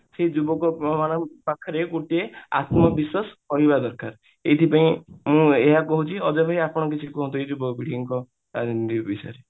ସେ ଯୁବକ ମାନଙ୍କ ପାଖରେ ଗୋଟିଏ ଆତ୍ମ ବିଶ୍ବାସ ରହିବା ଦରକାର ଏଇଥିପାଇଁ ମୁଁ ଏଇଆ କହୁଛି ଅଜୟ ଭାଇ ଆପଣ କିଛି କୁହନ୍ତୁ ଏଇ ଯୁବ ପିଢୀଙ୍କ ରାଜନୀତି ବିଷୟରେ